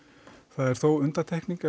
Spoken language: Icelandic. það er þó undantekning